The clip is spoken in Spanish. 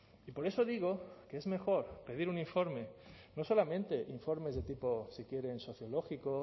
y por eso digo que es mejor pedir un informe no solamente informes de tipo si quieren sociológico